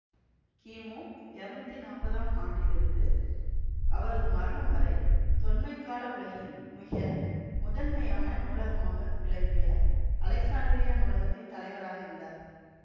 கிமு இருநூத்தி நாப்பதாம் ஆண்டிலிருந்து அவரது மரணம் வரை தொன்மைக்கால உலகின் மிக முதன்மையான நூலகமாக விளங்கிய அலெக்சாண்டிரியா நூலகத்தின் தலைவராக இருந்தார்